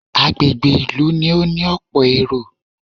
Agbègbè ìlú ni ó ní ọ̀pọ̀ èrò